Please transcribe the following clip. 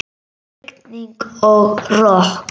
Rigning og rok.